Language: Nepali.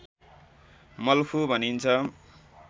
मल्खु भनिन्छ